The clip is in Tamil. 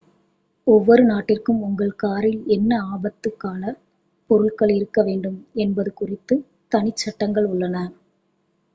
ஒவ்வொரு நாட்டிற்கும் உங்கள் காரில் என்ன ஆபத்துக் காலப் பொருள்கள் இருக்க வேண்டும் என்பது குறித்து தனிச் சட்டங்கள் உள்ளன